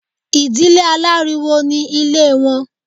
Ìdílé aláriwo ní Ilé wọn